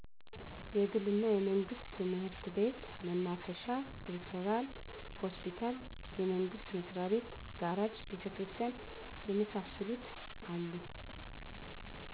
የግል እና የመንግስት ትምህርት ቤት፣ መናፈሻ፣ ሪፈራል ሆስፒታል፣ የመንግስት መስሪያቤት፣ ጋራጅ፣ ቤተክርስቲያን የመሳሰሉት አሉ።